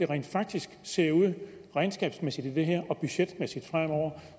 rent faktisk ser ud regnskabsmæssigt og budgetmæssigt fremover